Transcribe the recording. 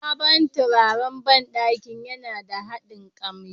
Sabon turaren banɗakin yana da daɗin kamshi.